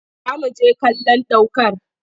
Za mu je kallon ɗ aukar